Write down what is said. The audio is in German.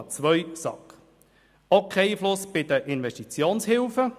Sie hat auch keinen Einfluss bei Investitionshilfen.